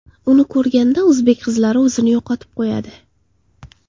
Uni ko‘rganda o‘zbek qizlari o‘zini yo‘qotib qo‘yadi.